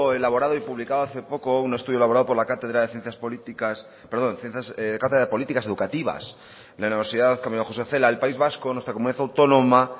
elaborado y publicado hace poco un estudio elaborado por la cátedra de ciencias políticas perdón cátedra de políticas educativas de la universidad camilo josé cela el país vasco nuestra comunidad autónoma